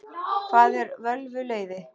Hvað eru völvuleiði?